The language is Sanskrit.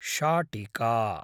शाटिका